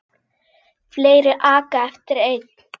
Fleiri aka eftir einn.